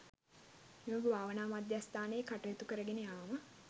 මෙම භාවනා මධ්‍යස්ථානයේ කටයුතු කරගෙන යාම